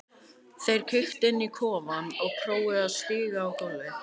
Þeir kíktu inn í kofann og prófuðu að stíga á gólfið.